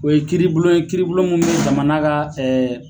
O ye kiiribulon ye, kiiribulon mun ni jamana ka ɛɛ